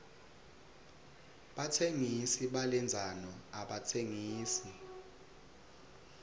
batsengisi balendzano abatsengisi